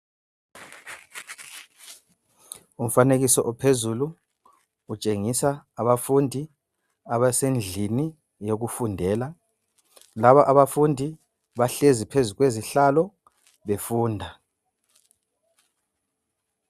Umfanekiso ophezulu kutshengisa abafundi abasendlini yokufundela. Laba abafundi bahlezi phezu kwezihlalo befunda